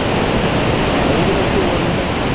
হ্যাঁ ঐগুলো একটু বল তো।